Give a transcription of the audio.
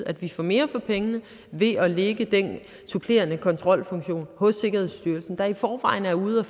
at vi får mere for pengene ved at lægge den supplerende kontrolfunktion hos sikkerhedsstyrelsen der i forvejen er ude at